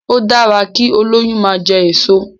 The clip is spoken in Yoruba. Ó dára kí olóyún máa jẹ èso.